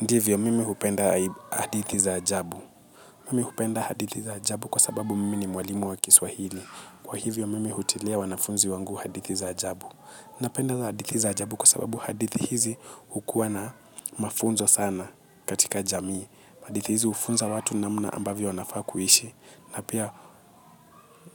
Ndivyo mimi hupenda hadithi za ajabu. Mimi hupenda hadithi za ajabu kwa sababu mimi ni mwalimu wa kiswahili. Kwa hivyo mimi hutilia wanafunzi wangu hadithi za ajabu. Napenda hadithi za ajabu kwa sababu hadithi hizi hukuwa na mafunzo sana katika jamii. Hadithi hizi hufunza watu namna ambavyo wanafaa kuishi. Na pia